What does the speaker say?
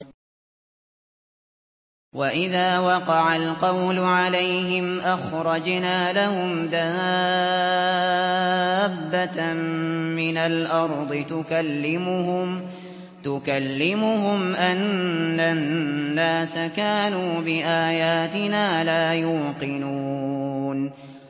۞ وَإِذَا وَقَعَ الْقَوْلُ عَلَيْهِمْ أَخْرَجْنَا لَهُمْ دَابَّةً مِّنَ الْأَرْضِ تُكَلِّمُهُمْ أَنَّ النَّاسَ كَانُوا بِآيَاتِنَا لَا يُوقِنُونَ